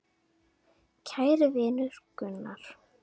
Kæri vinur Gunnar.